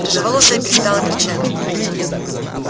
рыжеволосая перестала кричать